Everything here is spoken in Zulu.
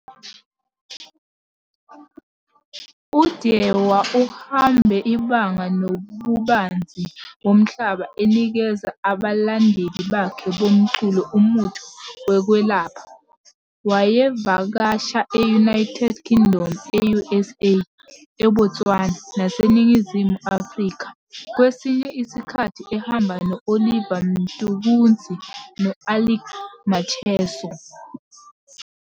UDhewa uhambe ibanga nobubanzi bomhlaba enikeza abalandeli bakhe bomculo umuthi wokwelapha. Wayevakasha e-United Kingdom, e-USA, eBotswana naseNingizimu Afrika kwesinye isikhathi ehamba no-Oliver Mtukudzi no-Alick Macheso.